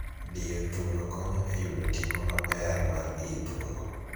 Diyo thuno konyo e yudo tipo maber mar ii thuno.